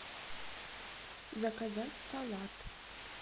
заказать салат